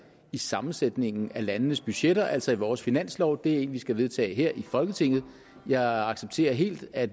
i sammensætningen af landenes budgetter altså i vores finanslov det er en lov vi skal vedtage her i folketinget jeg accepterer helt at